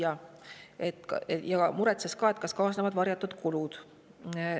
Ta muretses ka sellepärast, et kaasnevad varjatud kulud.